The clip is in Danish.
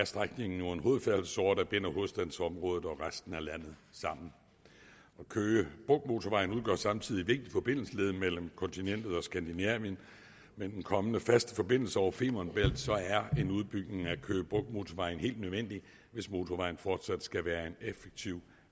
strækningen en hovedfærdselsåre der binder hovedstadsområdet og resten af landet sammen køge bugt motorvejen udgør samtidig et vigtigt forbindelsesled mellem kontinentet og skandinavien med den kommende faste forbindelse over femern bælt er en udbygning af køge bugt motorvejen helt nødvendig hvis motorvejen fortsat skal være en effektiv